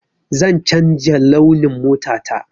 Zan canja launin mota ta.